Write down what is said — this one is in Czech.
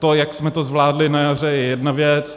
To, jak jsme to zvládli na jaře, je jedna věc.